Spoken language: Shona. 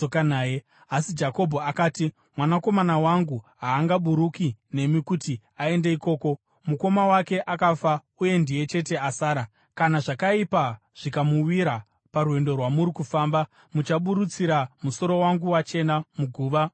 Asi Jakobho akati, “Mwanakomana wangu haangaburuki nemi kuti aende ikoko; mukoma wake akafa uye ndiye chete asara. Kana zvakaipa zvikamuwira parwendo rwamuri kufamba, muchaburutsira musoro wangu wachena muguva mukusuwa.”